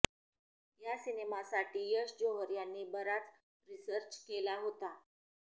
या सिनेमासाठी यश जोहर यांनी बराच रिसर्च केला होता